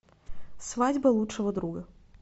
свадьба лучшего друга